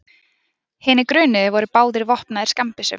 Hinir grunuðu voru báðir vopnaðir skammbyssum